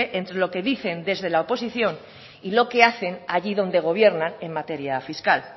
entre lo que dicen desde la oposición y lo que hacen allí donde gobiernan en materia fiscal